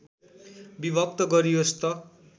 विभक्त गरियोस् त